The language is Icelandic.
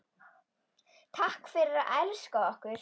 Takk fyrir að elska okkur.